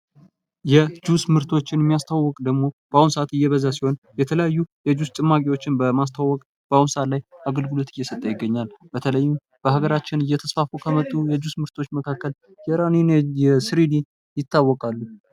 የጁስ ምርቶች የሚያስተዋውቅ ደግሞ በአሁኑ ሰአት እየበዛ ሲሆን የተለያዩ የጁስ ጭማቂዎችን በማስተዋወቅ በአሁኑ ሰአት ላይ አገልግሎት እየሰጠ ይገኛል።